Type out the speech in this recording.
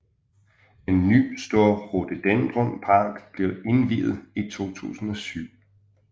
En ny stor rhododendronpark blev indviet i 2007